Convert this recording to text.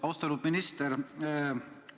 Austatud minister!